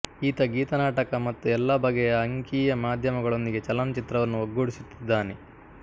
ಈತ ಗೀತನಾಟಕ ಮತ್ತು ಎಲ್ಲಾ ಬಗೆಯ ಅಂಕೀಯ ಮಾಧ್ಯಮಗಳೊಂದಿಗೆ ಚಲನಚಿತ್ರವನ್ನು ಒಗ್ಗೂಡಿಸುತ್ತಿದ್ದಾನೆ